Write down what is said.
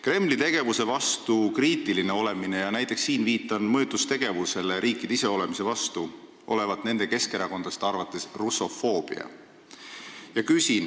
Kremli tegevuse vastu kriitiline olemine – siinkohal viitan näiteks mõjutustegevusele riikide iseolemise vastu – on nende keskerakondlaste arvates russofoobia.